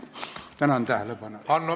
Tänan tähelepanu eest!